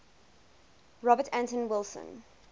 robert anton wilson